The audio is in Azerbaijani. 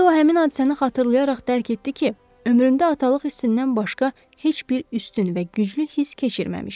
İndi o həmin hadisəni xatırlayaraq dərk etdi ki, ömründə atalıq hissindən başqa heç bir üstün və güclü hiss keçirməmişdir.